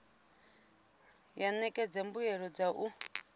ya ṋekedza mbuelo dza u